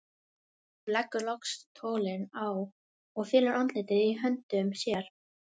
Hún leggur loks tólið á og felur andlitið í höndum sér.